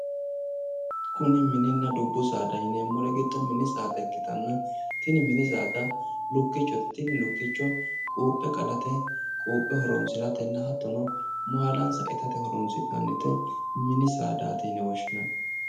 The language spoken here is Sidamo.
Kuni mininna dubbu saada yineemmori giddo mini saada ikkitanna tini mini saada lukkichote. Lukkicho quuphe qalate, quuphe horoonsiratenna hattono maalansa itate horoonsi'nanni mini saadaati uine woshshinanni.